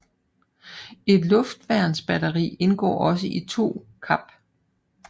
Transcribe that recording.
Et Luftværnsbatteri indgår også i 2 KAP